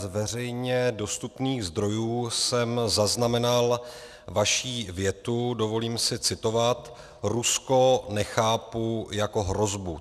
Z veřejně dostupných zdrojů jsem zaznamenal vaši větu, dovolím si citovat: Rusko nechápu jako hrozbu.